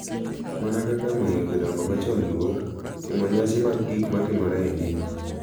Mana kaka miyo jodongo machon luor, timo nyasi mag gik matimore e ngima,